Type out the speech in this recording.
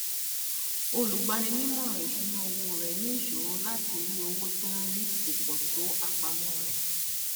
olùgbaninímọràn ìṣúnná owó rẹ ní ìṣòro láti rí owó tó ń rí kò pọ tó àpamọ rẹ